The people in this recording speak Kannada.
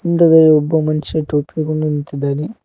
ವಿಂಡೋ ದಲ್ಲಿ ಒಬ್ಬ ಮನುಷ್ಯ ಟೋಪಿ ಹಾಕೊಂಡು ನಿಂತಿದ್ದಾನೆ.